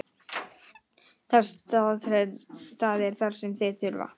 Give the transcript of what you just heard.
Það er það sem þeir þurfa.